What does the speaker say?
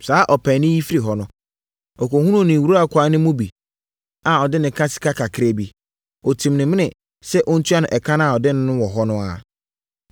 “Saa ɔpaani yi firi hɔ no, ɔkɔhunuu ne nwurakwaa no mu bi a ɔde no ka sika kakraa bi. Ɔtim no amene sɛ ɔntua no ɛka a ɔde no no wɔ ɛhɔ ara.